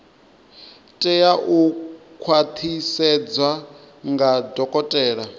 tea u khwaṱhisedzwa nga dokotela